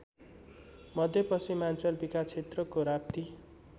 मध्यपश्चिमाञ्चल विकासक्षेत्रको राप्ती